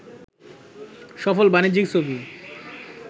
সফল বাণিজ্যিক ছবি